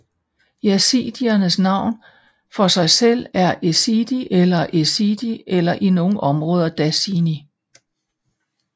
Yazidiernes navn for sig selv er Êzidî eller Êzîdî eller i nogle områder Dasinî